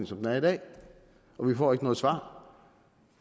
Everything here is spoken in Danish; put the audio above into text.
som den er i dag og vi får ikke noget svar